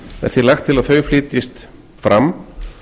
er því lagt til að þau flytjist fram